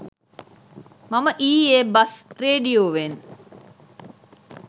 මම ඊයෙ බස් රේඩියෝවෙන්